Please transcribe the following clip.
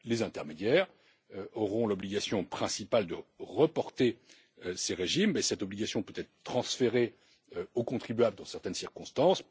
Les intermédiaires auront l'obligation principale de rapporter ces régimes, mais cette obligation peut être transférée au contribuable dans certaines circonstances.